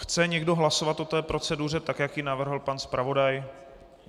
Chce někdo hlasovat o té proceduře, tak jak ji navrhl pan zpravodaj?